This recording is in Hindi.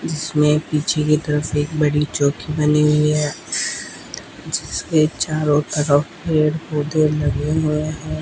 इसमें पीछे की तरफ एक बड़ी चौकी बनी हुई है जिसके चारों तरफ पौधे लगे हुए हैं।